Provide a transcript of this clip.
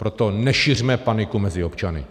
Proto nešiřme paniku mezi občany.